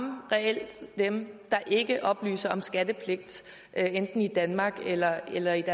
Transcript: dem der ikke oplyser om skattepligt enten i danmark eller eller i det